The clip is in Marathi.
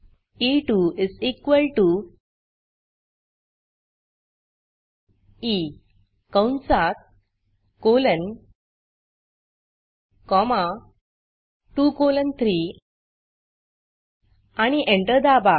ई2 ई कंसात कोलन कॉमा 2 कोलन 3 आणि एंटर दाबा